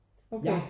Okay